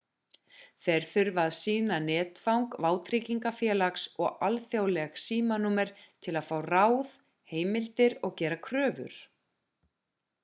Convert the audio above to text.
þeir þurfa að sýna netfang vátryggingafélags og alþjóðleg símanúmer til að fá ráð/heimildir og gera kröfur